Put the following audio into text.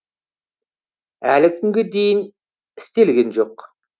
әлі күнге дейін істелген жоқ